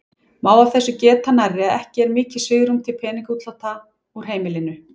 Má af þessu geta nærri að ekki er mikið svigrúm til peningaútláta úr heimilinu.